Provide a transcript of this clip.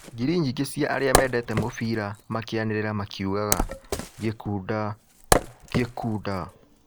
Ngiri nyingĩ cia arĩa mendete mũbira makĩanĩrĩra makiugaga, "Gikunda, Gikunda!"